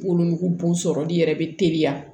Wolonugu sɔrɔli yɛrɛ bɛ teliya